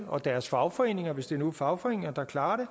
og deres fagforeninger hvis det nu er fagforeninger der klarer det